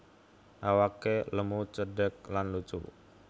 Awake lemu cendhek lan lucu